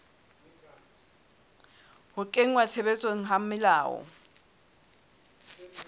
ho kenngwa tshebetsong ha melao